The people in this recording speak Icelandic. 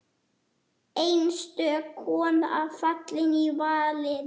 Einstök kona fallin í valinn.